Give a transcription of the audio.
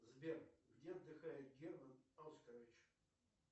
сбер где отдыхает герман оскарович